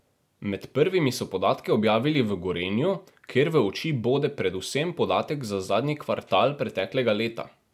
Med prvimi so podatke objavili v Gorenju, kjer v oči bode predvsem podatek za zadnji kvartal preteklega leta.